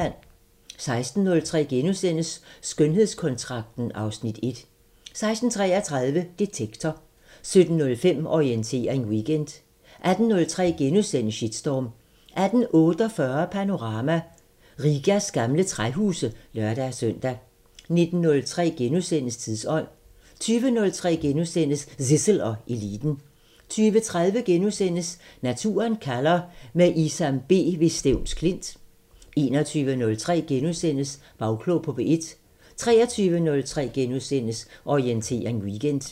16:03: Skønhedskontrakten (Afs. 1)* 16:33: Detektor 17:05: Orientering Weekend 18:03: Shitstorm * 18:48: Panorama: Rigas gamle træhuse (lør-søn) 19:03: Tidsånd * 20:03: Zissel og Eliten * 20:30: Naturen kalder – med Isam B ved Stevns Klint * 21:03: Bagklog på P1 * 23:03: Orientering Weekend *